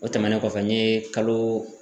O tɛmɛnen kɔfɛ n ye kalo